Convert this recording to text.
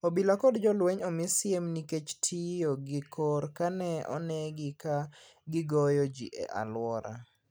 Obila kod jolweny omi siem nikech tiyo gi kor ka ne one gi ka gigoyo ji e alwora.